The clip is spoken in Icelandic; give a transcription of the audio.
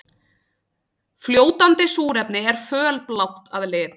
Fljótandi súrefni er fölblátt að lit.